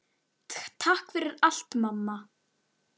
Takk fyrir allt, mamma.